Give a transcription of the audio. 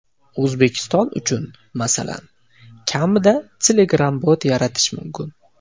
O‘zbekiston uchun, masalan, kamida Telegram-bot yaratish mumkin.